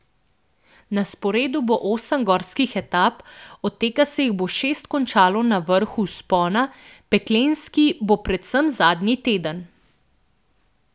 Na sporedu bo osem gorskih etap, od tega se jih bo šest končalo na vrhu vzpona, peklenski bo predvsem zadnji teden.